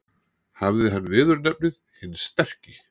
Hafði hann viðurnefnið hinn sterki.